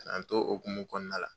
K'an to o hokumu kɔnɔna la.